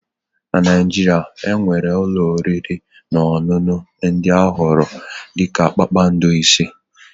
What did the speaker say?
na Naijiria, e nwere ụlọ oriri na ọṅụṅụ ndị a họọrọ dị ka kpakpando ise